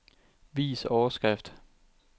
Vis overskrift.